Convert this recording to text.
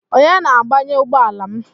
Onye na-agbanye ugbọala m?